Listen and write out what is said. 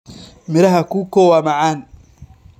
Miraha Cuckoo waa macaan.